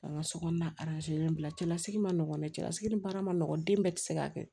An ka sokɔnɔna bila cɛlasigi ma nɔgɔn cɛlasigi ni baara ma nɔgɔn den bɛɛ tɛ se ka kɛ